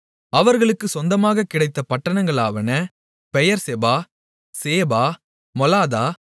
அவர்களுக்குச் சொந்தமாகக் கிடைத்த பட்டணங்களாவன பெயெர்செபா சேபா மொலாதா